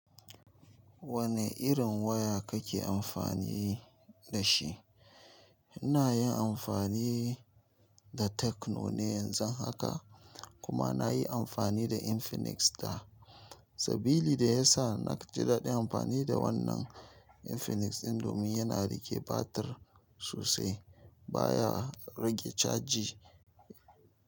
Wane irin waya kake amfani da shi? Ina yin anfani da tecno ne yanzu haka kuma ina yin anfani da infinix da sabili da yasa naji dadin anfani da wannan infinix din domin yana rike batir sosai ba ya rage caji.